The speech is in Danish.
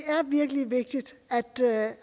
virkelig vigtigt